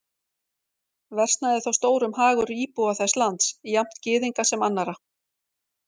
Versnaði þá stórum hagur íbúa þess lands, jafnt Gyðinga sem annarra.